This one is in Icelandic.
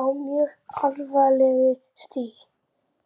á mjög alvarlegu stigi.